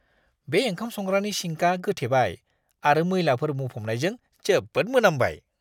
बे ओंखाम-संग्रानि सिंकआ गोथेबाय आरो मैलाफोर बुंफबनायजों जोबोद मोनामबाय!